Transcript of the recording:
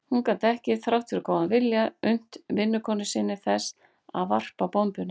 Hún gat ekki, þrátt fyrir góðan vilja, unnt vinnukonu sinni þess að varpa bombunni.